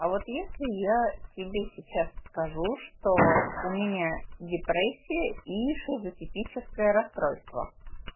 а вот если я тебе сейчас скажу что у меня депрессия и шизотипическое расстройство